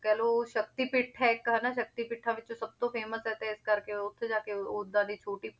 ਕਹਿ ਲਓ ਸ਼ਕਤੀ ਪੀਠ ਹੈ ਇੱਕ ਹਨਾ ਸ਼ਕਤੀ ਪੀਠਾਂ ਵਿੱਚੋਂ ਸਭ ਤੋਂ famous ਹੈ ਤੇ ਇਸ ਕਰਕੇ ਉੱਥੇ ਜਾ ਕੇ ਓਦਾਂ ਦੀ ਛੋਟੀ